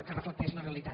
que reflecteixi la realitat